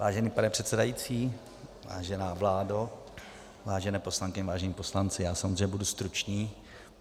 Vážený pane předsedající, vážená vládo, vážené poslankyně, vážení poslanci, já samozřejmě budu stručný,